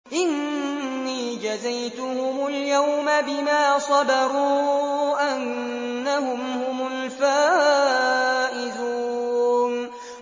إِنِّي جَزَيْتُهُمُ الْيَوْمَ بِمَا صَبَرُوا أَنَّهُمْ هُمُ الْفَائِزُونَ